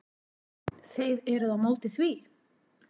Þið eruð á móti því?